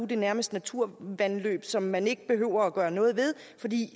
det nærmest naturvandløb som man ikke behøver at gøre noget ved fordi